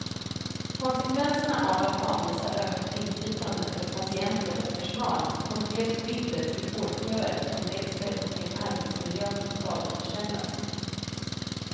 Konsekvenserna av att avvisa ökat inflytande för patienter och personal upplevs bittert i vårdköer som växer och i en arbetsmiljö som stadigt försämras.